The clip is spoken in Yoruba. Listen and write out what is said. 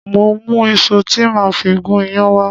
Mo mú iṣu tí a máa fi gún iyán wá